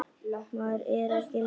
Maður er ekki lengur einn.